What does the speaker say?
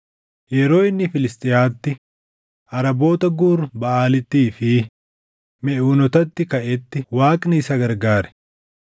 Yeroo inni Filisxiyaatti, Araboota Guur Baʼaalittii fi Meʼuunootatti kaʼetti Waaqni isa gargaare.